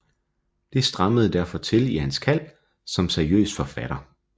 Det strammede derfor til i hans kald som seriøs forfatter